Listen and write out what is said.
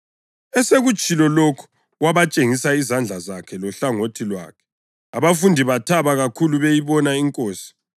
Esekutshilo lokhu wabatshengisa izandla zakhe lohlangothi lwakhe. Abafundi bathaba kakhulu beyibona iNkosi.